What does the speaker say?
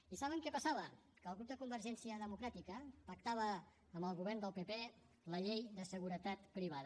i saben què passava que el grup de convergència democràtica pactava amb el govern del pp la llei de seguretat privada